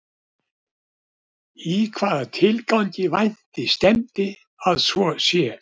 Í hvaða tilgangi vænti stefndi að svo sé?